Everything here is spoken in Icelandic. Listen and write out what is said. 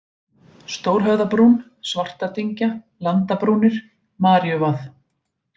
Stórhöfðabrún, Svartadyngja, Landabrúnir, Maríuvað